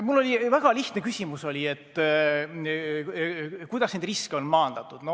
Mul oli väga lihtne küsimus: kuidas neid riske on maandatud.